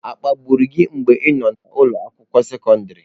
Akpagburu gị mgbe ị nọ n'ụlọ akwụkwọ sekọndrị?